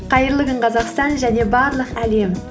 қайырлы күн қазақстан және барлық әлем